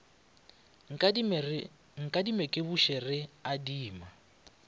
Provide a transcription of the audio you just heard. nkadime ke buše re adima